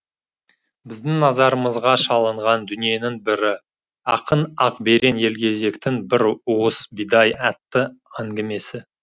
біздің назарымызға шалынған дүниенің бірі ақын ақберен елгезектің бір уыс бидай атты әңгімесі